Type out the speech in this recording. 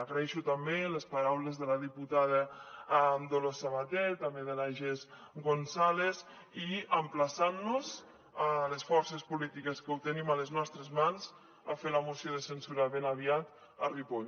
agraeixo també les paraules de la diputada dolors sabater també de la jess gonzález i emplaçant nos a les forces polítiques que ho tenim a les nostres mans a fer la moció de censura ben aviat a ripoll